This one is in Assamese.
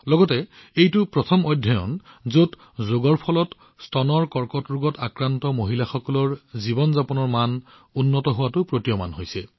লগতে এইটো এটা প্ৰথম অধ্যয়ন যত স্তন কৰ্কটৰোগৰ দ্বাৰা প্ৰভাৱিত মহিলাসকলৰ জীৱনৰ মানদণ্ড উন্নত কৰাৰ বাবে যোগাভ্যাস পোৱা গৈছে